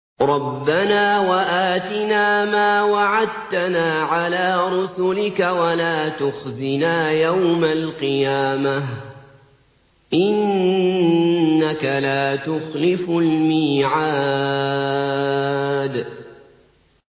رَبَّنَا وَآتِنَا مَا وَعَدتَّنَا عَلَىٰ رُسُلِكَ وَلَا تُخْزِنَا يَوْمَ الْقِيَامَةِ ۗ إِنَّكَ لَا تُخْلِفُ الْمِيعَادَ